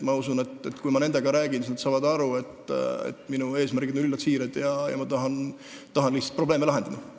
Ma usun, et kui ma nendega räägin, siis nad saavad aru, et minu eesmärgid on üllad ja siirad ning ma tahan lihtsalt probleeme lahendada.